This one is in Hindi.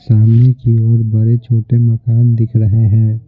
सामने की ओर बड़े-छोटे मकान दिख रहे है।